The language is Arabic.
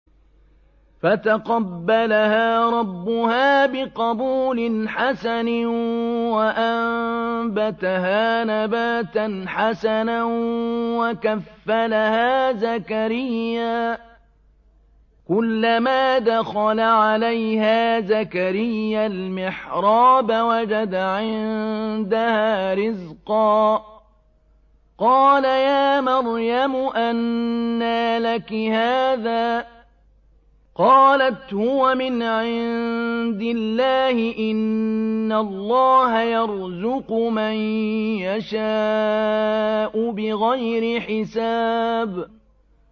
فَتَقَبَّلَهَا رَبُّهَا بِقَبُولٍ حَسَنٍ وَأَنبَتَهَا نَبَاتًا حَسَنًا وَكَفَّلَهَا زَكَرِيَّا ۖ كُلَّمَا دَخَلَ عَلَيْهَا زَكَرِيَّا الْمِحْرَابَ وَجَدَ عِندَهَا رِزْقًا ۖ قَالَ يَا مَرْيَمُ أَنَّىٰ لَكِ هَٰذَا ۖ قَالَتْ هُوَ مِنْ عِندِ اللَّهِ ۖ إِنَّ اللَّهَ يَرْزُقُ مَن يَشَاءُ بِغَيْرِ حِسَابٍ